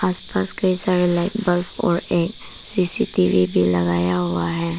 आस पास कई सारे लाइट बल्ब और एक सी_सी_टी_वी भी लगाया हुआ है।